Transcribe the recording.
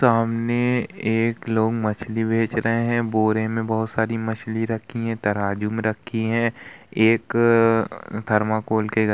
सामने एक लोग मछली बेच रहे है बोरी में बहोत सारी मछली रखी है तराजू में रखी है एक थर्माकॉल के --